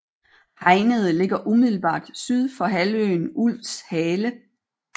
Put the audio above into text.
Hegnede ligger umiddelbart syd for halvøen Ulvshale